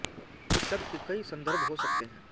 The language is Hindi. इस शब्द के कई सन्दर्भ हो सकते हैं